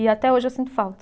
E até hoje eu sinto falta.